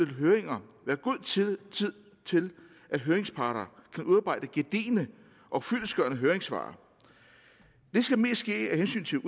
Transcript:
høringer være god tid til at høringsparter kan udarbejde gedigne og fyldestgørende høringssvar det skal mest ske af hensyn til